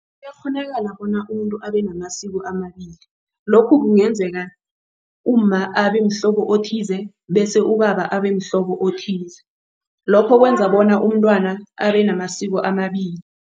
Kuyakghonakala bona umuntu abenamasiko amabili. Lokhu kungenzeka umma abemhlobo othize bese ubaba abemhlobo othize lokho kwenza bona umntwana abenamasiko amabili.